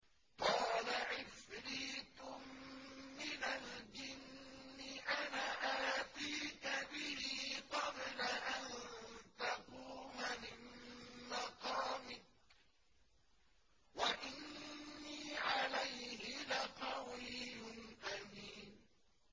قَالَ عِفْرِيتٌ مِّنَ الْجِنِّ أَنَا آتِيكَ بِهِ قَبْلَ أَن تَقُومَ مِن مَّقَامِكَ ۖ وَإِنِّي عَلَيْهِ لَقَوِيٌّ أَمِينٌ